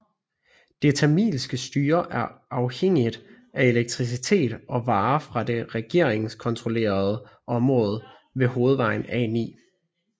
Det tamilske styre er afhængigt af elektricitet og varer fra det regeringskontrollerede område ved hovedvejen A9